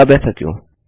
अब ऐसा क्यों